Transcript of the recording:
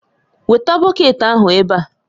Weta bọket ahụ ebe a!